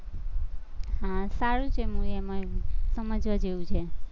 હા સારું છે movie એમાં સમજવા જેવું છે.